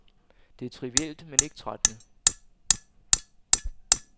Det er trivielt, men ikke trættende.